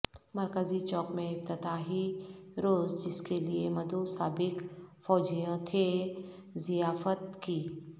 مرکزی چوک میں افتتاحی روز جس کے لئے مدعو سابق فوجیوں تھے ضیافت کی